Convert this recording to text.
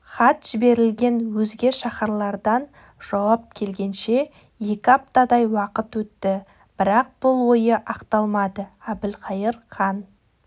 хат жіберілген өзге шаһарлардан жауап келгенше екі аптадай уақыт өтті бірақ бұл ойы ақталмады әбілқайыр хан